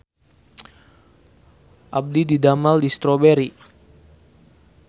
Abdi didamel di Strawberry